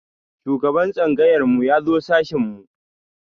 Shugaban tsangayar mu ya zo sashin mu.